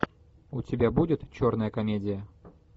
у тебя будет черная комедия